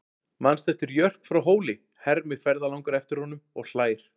Manstu eftir Jörp frá Hóli, hermir ferðalangur eftir honum og hlær.